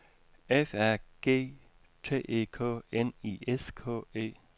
F A G T E K N I S K E